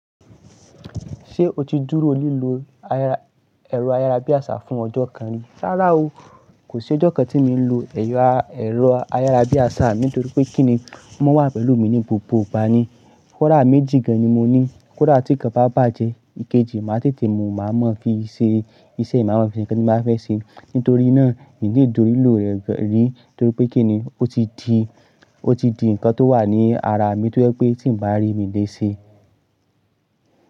Ṣé o ti dúró lílọ ẹ̀rọ ayárabíàṣá fún ọjọ́ kan rí? Rárá o. Kò sí ọjọ́ kan tíì mi n lo ẹ̀rọ ayárabíàṣá mi nítorí pé kíni o mọ wà pẹ̀lú mi ní gbogbo ìgbà ni. Kóda méjì gan ni mo ní, kóda tí ikan bá bàjẹ́, ìkejì máa tètè mú u, màá mọ fi ṣe iṣẹ́, màá mọ fi se nkan tí n ba fẹ́ ṣe. Nítorí náà mi kò ì dúró lílò rẹ̀ rí nítorí pé kíni ó ti di, ó ti di ǹkan tó wà ní ara mi tó jẹ́ pé tí mo bá rí mi léṣe.